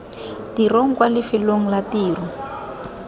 tirong kwa lefelong la tiro